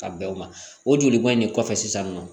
Ka bɛn o ma o joli b'a in de kɔfɛ sisan nin nɔ